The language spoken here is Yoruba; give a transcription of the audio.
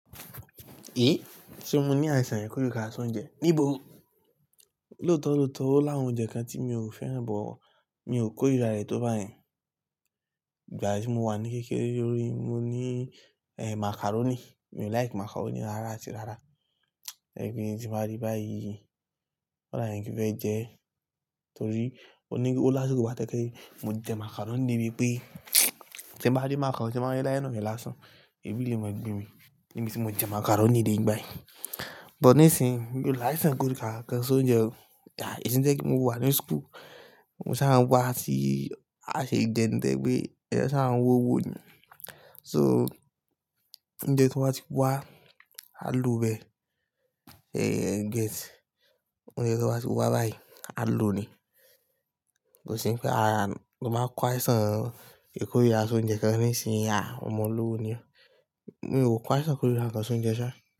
E! Ṣé mo ní àìsàn ìkórìíra ká ṣe oùnjẹ? Níbo? Lóòótọ́ lóòótọ́ ó làwọn oúnjẹ kan tí mi ò fẹ́ràn but, mi ò kórira rẹ̀ tó bayẹn. Ìgbà tí mo wà ní kékeré lórí, mo ní, eh, macaroni. Mi ò like macaroni rárá áti rárá. Ẹ̀gbin tí mo rí báyìí, kòda n kí fẹ́ jẹ ẹ́ torí ó ní ó lásìkò kan bái tojẹ pe, mo jẹ macaroni débi pé tí mo bá rí macaroni, màá dá iná mi lásán. Èbí lè mọ gbe mi níbi tí mo jẹ macaroni dé ngba yẹn But ní ìsinyi mi ò láìsàn ìkórìíra kan sóúnjẹ o. Ẹ̀sìn jẹ́ pé kí mo wà ní school, mo sá a ń wá sí àṣẹ ìjẹun tẹ́ pé a sá a ń wo owó ni. So oúnjẹ tí wọ́n bá ti wá, a lo bẹ́ẹ̀. Eh, get. Oúnjẹ tí wọ́n bá ti wá báyìí, á lo ni. Kò sí pé ara, mo máa kó àìsàn ìkórìíra soùnjẹ kan ní ìsinmi. À, ọmọ olówó ni ọ. Mi ò kó àìsàn ìkórìíra kan sóúnjẹ ṣá.